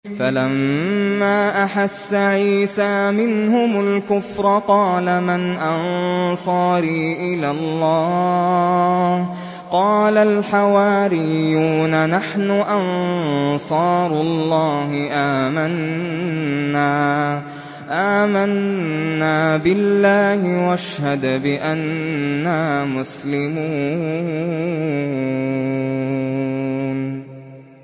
۞ فَلَمَّا أَحَسَّ عِيسَىٰ مِنْهُمُ الْكُفْرَ قَالَ مَنْ أَنصَارِي إِلَى اللَّهِ ۖ قَالَ الْحَوَارِيُّونَ نَحْنُ أَنصَارُ اللَّهِ آمَنَّا بِاللَّهِ وَاشْهَدْ بِأَنَّا مُسْلِمُونَ